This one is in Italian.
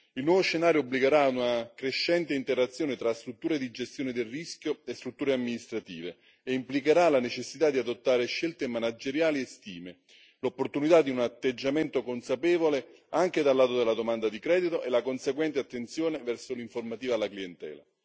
Il nuovo scenario obbligherà a una crescente interazione tra strutture di gestione del rischio e strutture amministrative, e implicherà la necessità di adottare scelte manageriali e stime, l'opportunità di un atteggiamento consapevole anche dal lato della domanda di credito e la conseguente attenzione verso l'informativa alla clientela.